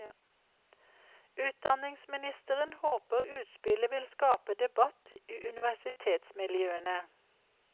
Utdanningsministeren håper utspillet vil skape debatt i universitetsmiljøene.